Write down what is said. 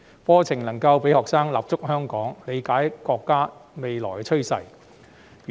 課程讓學生能夠立足香港，理解國家的未來發展。